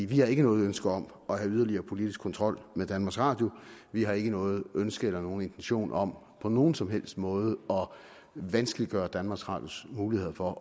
vi har ikke noget ønske om at have yderligere politisk kontrol med danmarks radio vi har ikke noget ønske eller nogen intention om på nogen som helst måde at vanskeliggøre danmarks radios mulighed for